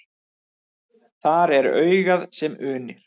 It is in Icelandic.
Þar er augað sem unir.